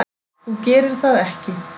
Þú gerir það ekki.